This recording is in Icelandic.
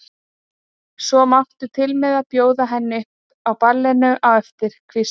Svo máttu til með að bjóða henni upp á ballinu á eftir, hvíslar